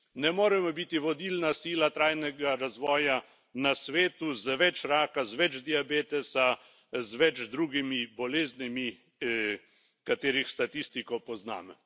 Ne moremo biti vodilna sila trajnega razvoja na svetu z več raka, z več diabetesa, z več drugimi boleznimi, katerih statistiko poznamo.